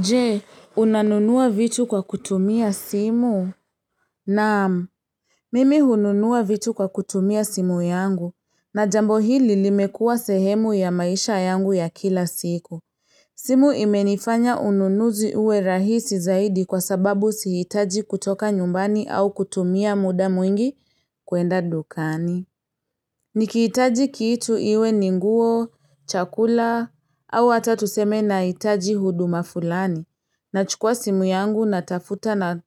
Je, unanunua vitu kwa kutumia simu? Naam. Mimi hununua vitu kwa kutumia simu yangu, na jambo hili limekuwa sehemu ya maisha yangu ya kila siku. Simu imenifanya ununuzi uwe rahisi zaidi kwa sababu siitaji kutoka nyumbani au kutumia muda mwingi kuenda dukani. Nikiitaji kiitu iwe ni nguo, chakula, au ata tuseme naitaji huduma fulani. Nachukua simu yangu natafuta na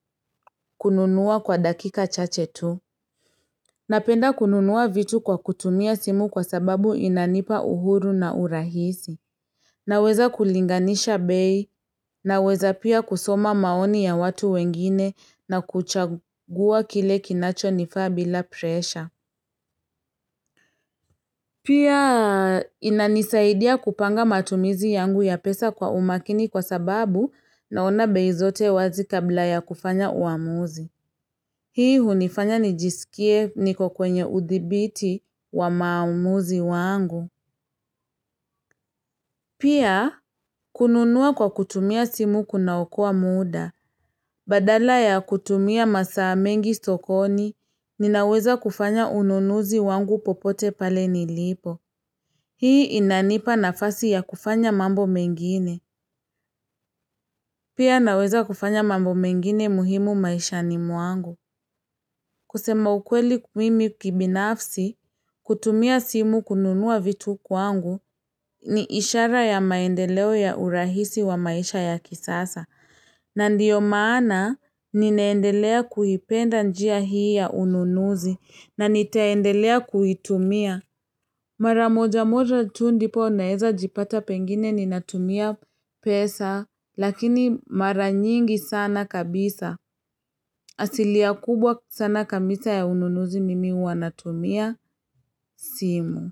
kununuwa kwa dakika chache tu. Napenda kununuwa vitu kwa kutumia simu kwa sababu inanipa uhuru na urahisi. Naweza kulinganisha bei naweza pia kusoma maoni ya watu wengine na kuchagua kile kinacho nifaa bila presha. Pia inanisaidia kupanga matumizi yangu ya pesa kwa umakini kwa sababu naona bei zote wazi kabla ya kufanya uamuzi. Hii hunifanya nijisikie niko kwenye udhibiti wa maamuzi wangu. Pia, kununua kwa kutumia simu kuna okoa muda. Badala ya kutumia masaa mengi sokoni, ninaweza kufanya ununuzi wangu popote pale nilipo. Hii inanipa nafasi ya kufanya mambo mengine. Pia naweza kufanya mambo mengine muhimu maisha ni mwangu. Kusema ukweli mimi kibinafsi, hutumia simu kununua vitu kwangu ni ishara ya maendeleo ya urahisi wa maisha ya kisasa. Na ndiyo maana nineendelea kuipenda njia hii ya ununuzi na nitaendelea kuitumia. Mara moja moja tu ndipo naeza jipata pengine ninatumia pesa, lakini mara nyingi sana kabisa. Asilia kubwa sana kamisa ya ununuzi mimi huwa natumia simu.